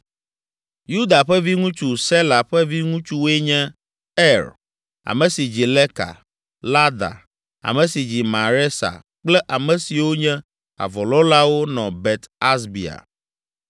Yuda ƒe viŋutsu, Sela ƒe viŋutsuwoe nye Er, ame si dzi Leka, Lada, ame si dzi Maresa kple ame siwo nye avɔlɔ̃lawo nɔ Bet Asbea,